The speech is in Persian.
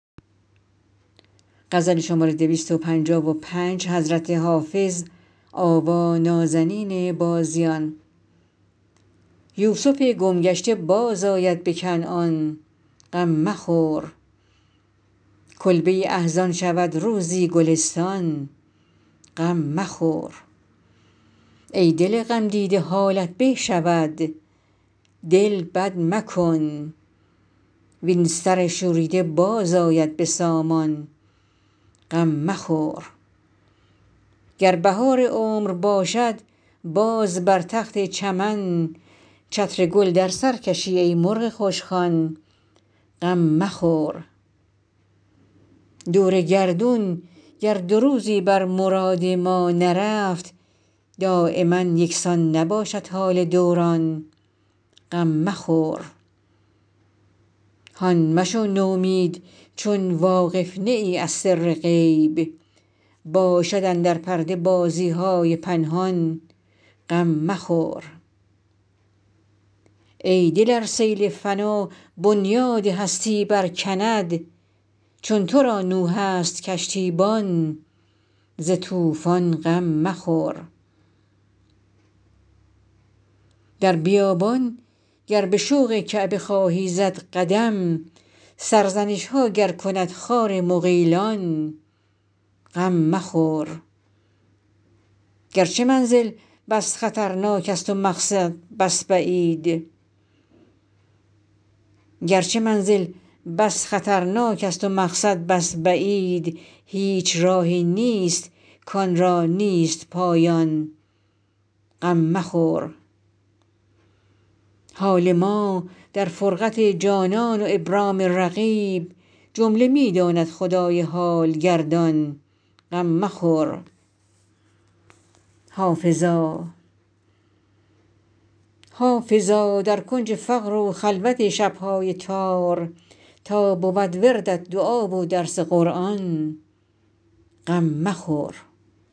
یوسف گم گشته بازآید به کنعان غم مخور کلبه احزان شود روزی گلستان غم مخور ای دل غمدیده حالت به شود دل بد مکن وین سر شوریده باز آید به سامان غم مخور گر بهار عمر باشد باز بر تخت چمن چتر گل در سر کشی ای مرغ خوشخوان غم مخور دور گردون گر دو روزی بر مراد ما نرفت دایما یکسان نباشد حال دوران غم مخور هان مشو نومید چون واقف نه ای از سر غیب باشد اندر پرده بازی های پنهان غم مخور ای دل ار سیل فنا بنیاد هستی برکند چون تو را نوح است کشتیبان ز طوفان غم مخور در بیابان گر به شوق کعبه خواهی زد قدم سرزنش ها گر کند خار مغیلان غم مخور گرچه منزل بس خطرناک است و مقصد بس بعید هیچ راهی نیست کآن را نیست پایان غم مخور حال ما در فرقت جانان و ابرام رقیب جمله می داند خدای حال گردان غم مخور حافظا در کنج فقر و خلوت شب های تار تا بود وردت دعا و درس قرآن غم مخور